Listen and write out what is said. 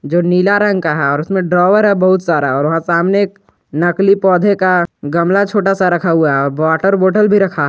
जो नीला रंग का है और उसमें ड्रावर है बहुत सारा और वहां सामने एक नकली पौधे का गमला छोटा सा रखा हुआ है और वाटर बॉटल भी रखा--